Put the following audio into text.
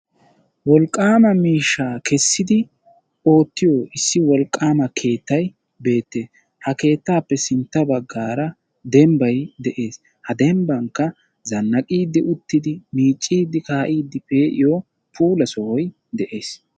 Wolqqama miishsha keesidi oottiyo issi wolqqama keettay beetees. Ha keettape sintta baggaara dembbay de'ees. Ha dembbankka zannaqidi uttidi miccidi kai'di peiyo puula sohoy de'ees.